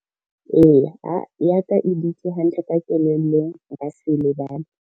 Ee ya ka e dutse hantle ka kellelong nka se e lebale.